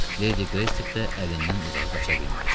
Ledi Qreystik də əlindən uzağa qaça bilməyəcək.